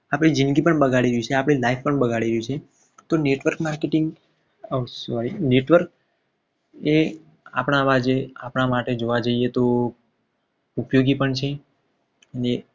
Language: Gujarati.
જિંદગી પણ બગાડી દેશે આપણી લાઈફ પણ બગાડી દેશે રહ્યું છે. તો network marketing sorry આ સ્થિતિ network એ આપણામાં જે આપણા માટે જોવા જઈએ. તો ઉપયોગી પણ છે. અને